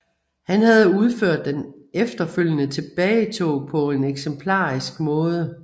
Han havde udført den efterfølgende tilbagetog på en eksemplarisk måde